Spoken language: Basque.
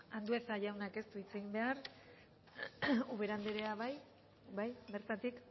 andueza jaunak ez du hitz egin behar ubera andrea bai bertatik